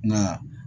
Nka